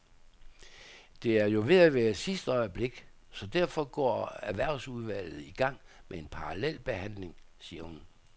Det er jo ved at være i sidste øjeblik, så derfor går erhvervsudvalget i gang med en parallel behandling, siger hun.